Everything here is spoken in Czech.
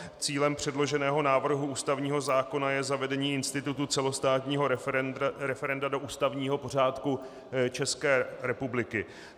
Cílem předloženého návrhu ústavního zákona je zavedení institutu celostátního referenda do ústavního pořádku České republiky.